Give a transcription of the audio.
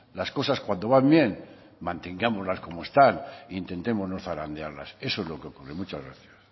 las cosas cuando van bien mantengámosla como están e intentemos no zarandearlas eso es lo que ocurre muchas gracias